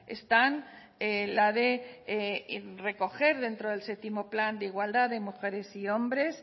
están la de recoger dentro del séptimo plan de igualdad de mujeres y hombres